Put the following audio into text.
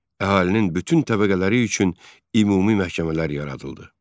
Əhalinin bütün təbəqələri üçün ümumi məhkəmələr yaradıldı.